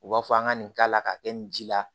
U b'a fɔ an ka nin k'a la k'a kɛ nin ji la